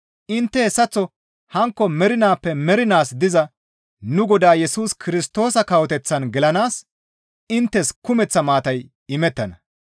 Intte hessaththo hankko mernaappe mernaas diza nu Godaa Yesus Kirstoosa kawoteththan gelanaas inttes kumeththa maatay imettana.